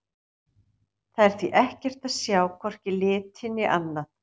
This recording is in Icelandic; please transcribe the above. Þar er því ekkert að sjá, hvorki liti né annað.